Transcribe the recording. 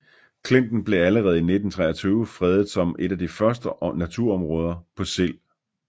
Klinten blev allerede i 1923 fredet som et af de første naturområder på Sild